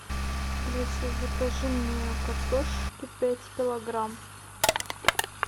алиса закажи мне картошки пять килограмм